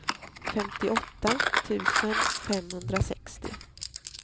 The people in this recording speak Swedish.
femtioåtta tusen femhundrasextio